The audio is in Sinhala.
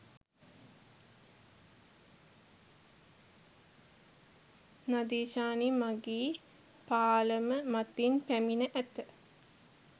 නදීෂානි මගී පාලම මතින් පැමිණ ඇත